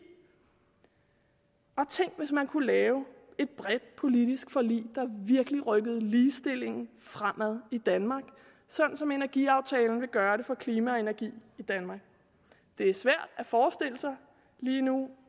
tænk hvis man kunne lave et bredt politisk forlig der virkelig rykkede ligestillingen fremad i danmark sådan som energiaftalen vil gøre det for klima og energi i danmark det er svært at forestille sig lige nu